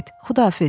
Xudahafiz.